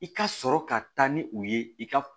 I ka sɔrɔ ka taa ni u ye i ka